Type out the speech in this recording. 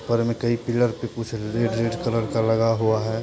ऊपर में कई पिलर पे कुछ रेड रेड कलर का लगा हुआ है।